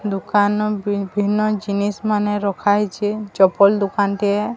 ଦୋକାନ ବିଭିନ୍ନ ଜିନିଷ ମାନ ରଖା ଯାଇଛି। ଚପଲ ଦୋକାନ କେ।